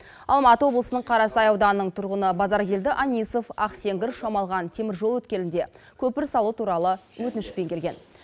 алматы облысының қарасай ауданының тұрғыны базаркелді анисов ақсеңгір шамалған теміржол өткелінде көпір салу туралы өтінішпен келген